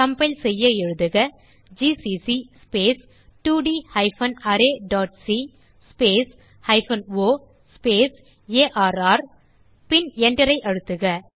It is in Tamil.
கம்பைல் செய்ய எழுதுக ஜிசிசி ஸ்பேஸ் 2ட் hyphen array dot C space hyphen O space R பின் Enterஐ அழுத்துக